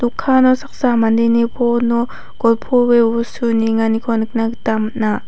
dokano saksa mandeni phone-o golpoe bostu nienganiko nikna gita man·a.